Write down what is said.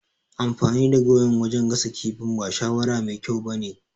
Amfani da gawayin wajan gasa kifin ba shawara mai kyau ba ne